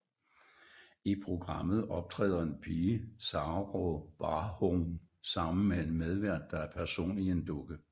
I programmet optræder en pige Saraa Barhoum sammen med en medvært der er en person i en dukke